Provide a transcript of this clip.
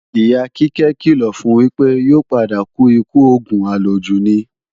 Ìyá Kíkẹ́ kìlọ̀ fun wípé, yóò padà kú ikú òògùn àlòjù ni